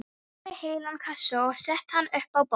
Ég sótti heilan kassa og setti hann upp á borð.